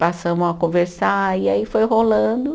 Passamos a conversar e aí foi rolando.